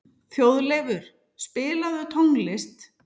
Þjóðleifur, spilaðu tónlist.